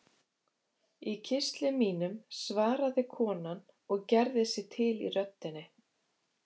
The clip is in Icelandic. Í kistli mínum, svaraði konan og gerði sig til í röddinni.